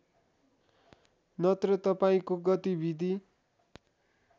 नत्र तपाईँको गतिविधि